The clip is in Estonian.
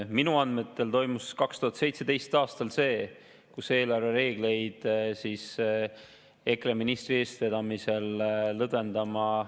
Minu andmetel toimus 2017. aastal see, et eelarvereegleid EKRE ministri eestvedamisel lõdvendama …